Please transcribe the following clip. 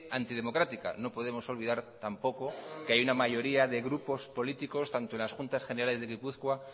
antidemocrática no podemos olvidar tampoco que hay una mayoría de grupos políticos tanto en las juntas generales de gipuzkoa